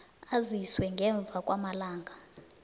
aziswe ngemva kwamalanga